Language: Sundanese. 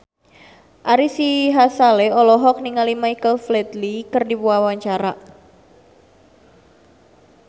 Ari Sihasale olohok ningali Michael Flatley keur diwawancara